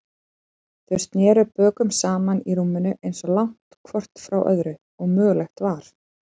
Þau sneru bökum saman í rúminu, eins langt hvort frá öðru og mögulegt var.